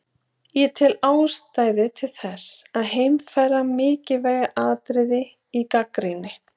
Ég tel ástæðu til þess að heimfæra mikilvæg atriði í gagnrýni